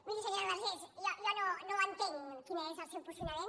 miri senyora vergés jo no entenc quin és el seu posicio nament